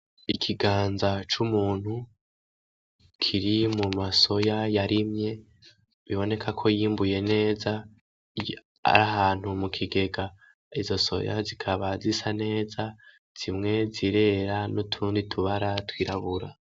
Ikiganza c'umuntu kiri mu masoya yarimye biboneka ko yimbuye neza ari ahantu mu kigega izo soya zikaba zisa neza zimwe zirera n'utundi tubara twirabura.